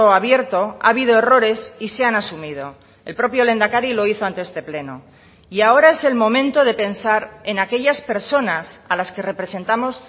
abierto ha habido errores y se han asumido el propio lehendakari lo hizo ante este pleno y ahora es el momento de pensar en aquellas personas a las que representamos